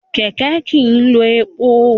Kẹ̀kẹ́ kìí lo epo.